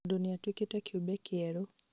tondũ nĩatuĩkĩte kĩũmbe kĩerũ